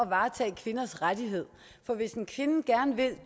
varetage kvinders rettigheder for hvis en kvinde gerne vil